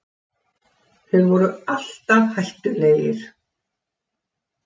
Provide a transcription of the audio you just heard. Þeir voru alltaf hættulegir